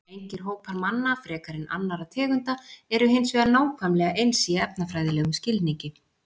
Engir hópar manna frekar en annarra tegunda eru hins vegar nákvæmlega eins í erfðafræðilegum skilningi.